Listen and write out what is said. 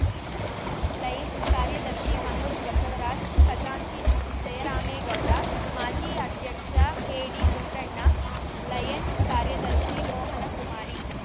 Lions ಕಾರ್ಯದರ್ಶಿ ಮನೋಜ್‌ ಬಸವರಾಜ್‌ ಖಜಾಂಚಿ ಜಯರಾಮೇಗೌಡ ಮಾಜಿ ಅಧ್ಯಕ್ಷ ಕೆಡಿಪುಟ್ಟಣ್ಣ ಲಯನ್ಸ್‌ ಕಾರ್ಯದರ್ಶಿ ಮೋಹನಕುಮಾರಿ